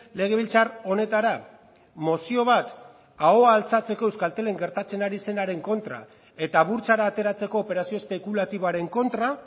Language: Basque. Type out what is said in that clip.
legebiltzar honetara mozio bat ahoa altxatzeko euskaltelen gertatzen ari zenaren kontra eta burtsara ateratzeko operazio espekulatiboaren kontra